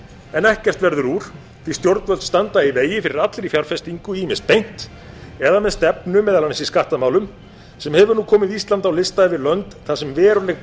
en ekkert verður úr því að stjórnvöld standa í vegi fyrir allri fjárfestingu ýmist beint eða með stefnu meðal annars í skattamálum sem hefur nú komið íslandi á lista yfir lönd þar sem veruleg